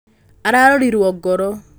ararorirwo ngoro